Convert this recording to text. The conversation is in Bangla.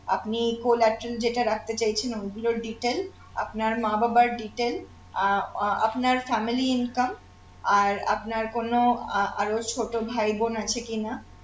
আপনি collateral যেটা রাখতে চাইছেন ঐগুলোর detail আপনার মা বাবার detail আহ আহ আপনার family income আর আপনার কোন আহ আরো ছোট ভাই বোন আছে কিনা